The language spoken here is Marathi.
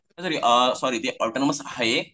अ सॉरी ते ऑटोनॉमस आहे